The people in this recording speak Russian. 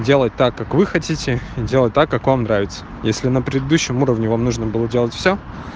делать так как вы хотите делать так как он нравится если на предыдущем уровне вам нужно было делать всё